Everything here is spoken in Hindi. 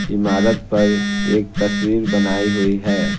इमारत पर एक तस्वीर बनाई हुई है।